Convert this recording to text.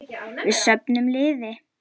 Við söfnum liði.